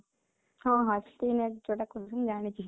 ହଁ, ହଁ teenage ଯୋଉଟା କହନ୍ତି ଜାଣିଚି